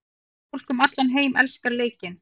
Fólk um allan heim elskar leikinn.